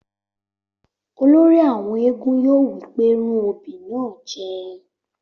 Olórí àwọn éégún yóò wí pé rún obì náà jẹ!